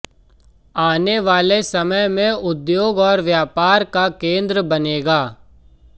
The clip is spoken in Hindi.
आने वाले समय में उद्योग और व्यापार का केंद्र बनेगा